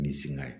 Ni sina ye